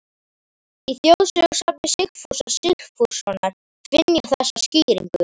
Í þjóðsagnasafni Sigfúsar Sigfússonar finn ég þessa skýringu